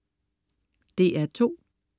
DR2: